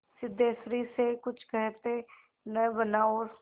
सिद्धेश्वरी से कुछ कहते न बना और